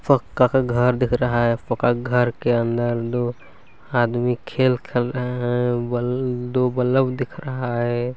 पक्का का घर दिख रहा है पक्का घर के अंदर दो आदमी खेल रहे है दो बल्ब दिख रहा है।